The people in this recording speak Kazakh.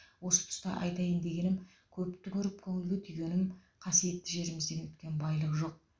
осы тұста айтайын дегенім көпті көріп көңілге түйгенім қасиетті жерімізден өткен байлық жоқ